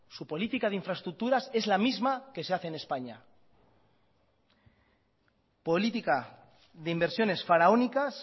su política de infraestructuras es la misma que se hace en españa política de inversiones faraónicas